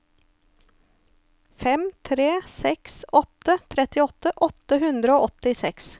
fem tre seks åtte trettiåtte åtte hundre og åttiseks